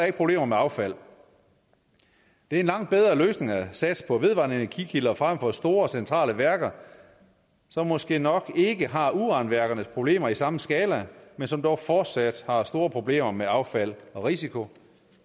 ikke problemer med affald det er en langt bedre løsning at satse på vedvarende energi kilder frem for store centrale værker som måske nok ikke har uranværkernes problemer i samme skala men som dog fortsat har store problemer med affald og risiko